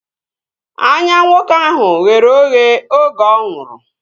Anya nwoke ahụ ghere oghe oge ọ nwụrụ